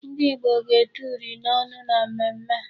Ndị ìgbo gáa-ete uri n'ọnụ na mmemmé a.